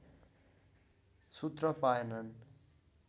सुत्न पाएनन्